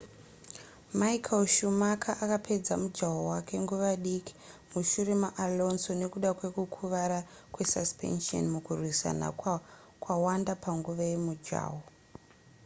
michael schumacher akapedza mujaho wake nguva diki mushure maalonso nekuda kwekukuvara kwesuspension mukurwisana kwawanda panguva yemujaho